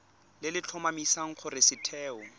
le le tlhomamisang gore setheo